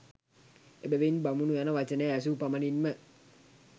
එබැවින් බමුණු යන වචනය ඇසූ පමණින්ම